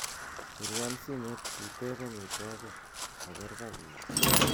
pirwon simeet iteeb omitwogik kogeer kagiit